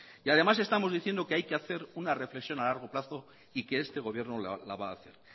y además estamos diciendo que hay que hacer una reflexión a largo plazo y que este gobierno la va a hacer